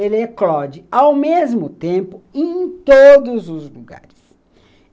ele eclode ao mesmo tempo em todos os lugares.